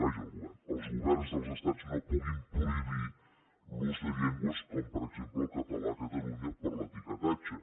vaja el govern els governs dels estats no puguin prohibir l’ús de llengües com per exemple el català a catalunya per l’etiquetatge